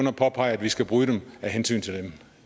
at påpege at vi skal bryde dem af hensyn til dem